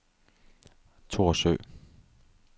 Thorsø